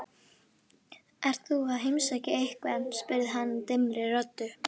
Ert þú að heimsækja einhvern? spurði hann dimmri röddu.